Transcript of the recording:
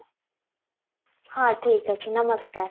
ହଁ ଠିକ ଅଛି ନମସ୍କାର